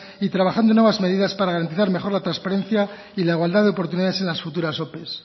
y trabajando en nuevas medidas para garantizar mejor la transparencia y la igualdad de oportunidades en futuras ope